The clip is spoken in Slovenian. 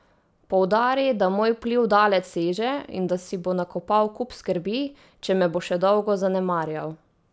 Poudari, da moj vpliv daleč seže in da si bo nakopal kup skrbi, če me bo še dolgo zanemarjal.